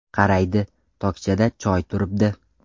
Qaraydi: tokchada choy turibdi.